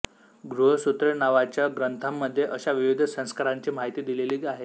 गृह्यसूत्रे नावाच्या ग्रंथांमध्ये अशा विविध संस्कारांची माहिती दिलेली आहे